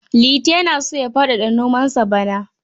Liti yana so ya faɗaɗa nomansa bana.